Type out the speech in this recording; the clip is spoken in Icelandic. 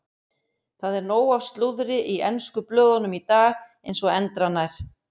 Það er nóg af slúðri í ensku blöðunum í dag eins og endranær.